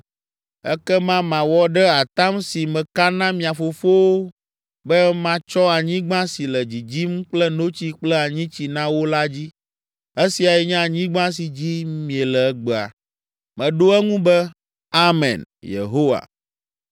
Ekema mawɔ ɖe atam si meka na mia fofowo be matsɔ anyigba si le dzidzim kple notsi kple anyitsi na wo la dzi.’ Esiae nye anyigba si dzi miele egbea.” Meɖo eŋu be, “Amen, Yehowa.”